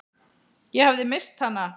Ég hafði misst hana.